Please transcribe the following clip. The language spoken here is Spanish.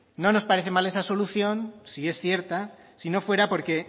no nos parece mal esa solución si es cierta si no fuera porque